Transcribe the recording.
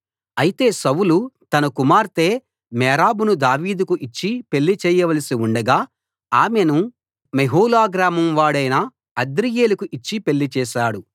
అయితే సౌలు తన కుమార్తె మేరబును దావీదుకు ఇచ్చి పెళ్లి చేయవలసి ఉండగా ఆమెను మెహోల గ్రామం వాడైన అద్రీయేలుకు ఇచ్చి పెళ్లి చేశాడు